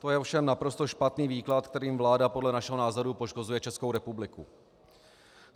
To je ovšem naprosto špatný výklad, kterým vláda podle našeho názoru poškozuje Českou republiku.